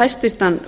hæstvirtur